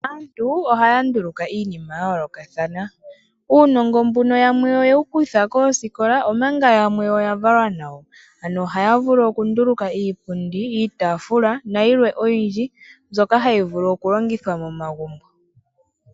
Aantu ohaya nduuluka iinima yayoolokathana. Uunongo mbuno yamwe oye wukutha koosikola omanga yamwe oya valwa nawo, ano ohaya vulu okunduuluka iipundi nenge iitaafula nayilwe oyindji mbyoka hayi vulu okulongithwa momagumbo.